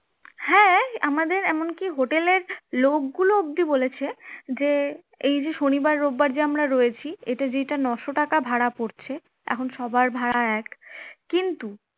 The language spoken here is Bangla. হ্যাঁ, আমাদের এমনকি hotel এর লোকগুলো অবধি বলেছে যে এই যে শনিবার রবিবার যে আমরা রয়েছি এটা যেটা নশো টাকা ভাড়া পরছে এখন সবার ভাড়া এক কিন্তু